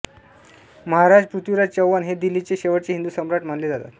महाराज पृथ्वीराज चौहान हे दिल्लीचे शेवटचे हिंदू सम्राट मानले जातात